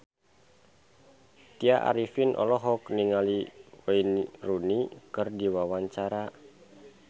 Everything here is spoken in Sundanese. Tya Arifin olohok ningali Wayne Rooney keur diwawancara